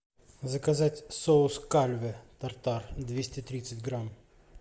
заказать соус кальве тартар двести тридцать грамм